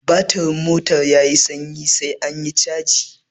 Batirin motar yayi sanyi sai anyi caji